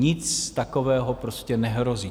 Nic takového prostě nehrozí.